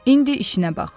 İndi işinə bax.